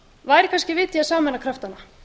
væri kannski vit í að sameina kraftana